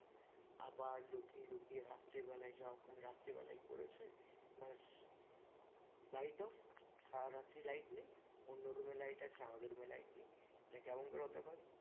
আবার লুকিয়ে লুকিয়ে রাত্রে বেলায় যখন রাত্রিবেলায় করেছে ব্যাস light off সারারাত্রি light নেই অন্য room এ light আছে আমাদের room এ light নেই এটা কেমন করে হতে পারে